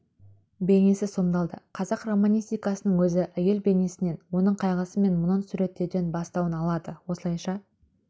бейнесі сомдалды қазақ романистикасының өзі әйел бейнесінен оның қайғысы мен мұңын суреттеуден бастауын алады осылайша